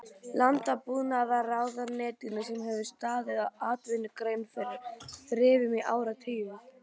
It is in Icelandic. Landbúnaðarráðuneytinu sem hefur staðið atvinnugreininni fyrir þrifum í áratugi!